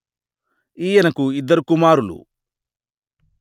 ఈయనకు ఇద్దరు కుమారులు